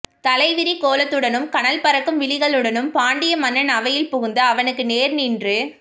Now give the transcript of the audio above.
தலைவிரிக்கோலத்துடனும் கனல் பறக்கும் விழிகளுடனும் பாண்டிய மன்னன் அவையில் புகுந்து அவனுக்கு நேர் நின்று